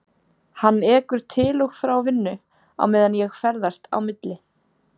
Hann ekur til og frá vinnu á meðan ég ferðast á milli